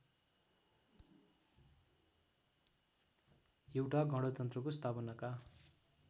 एउटा गणतन्त्रको स्थापनाका